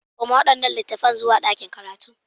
Koma waɗannan littattafan zuwa ɗakin karatu.